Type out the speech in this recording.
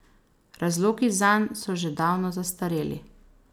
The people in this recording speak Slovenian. Razlogi zanj so že davno zastareli.